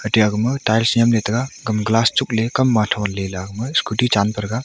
ate agma tiles nyemley taga kam glass chugley kamwa tholey la scooty chanpethaga.